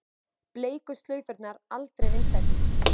Bleiku slaufurnar aldrei vinsælli